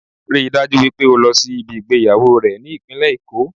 Ríi dájú wípé o lọ sí ibi ìgbéyàwó rẹ̀ ní ìpínlẹ̀ Èkó